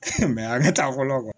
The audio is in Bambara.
a bɛ taa fɔlɔ